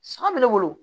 San bɛ ne bolo